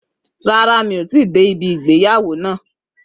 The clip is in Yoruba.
Rárá, mi ò tíì dé ìgbéyàwó náà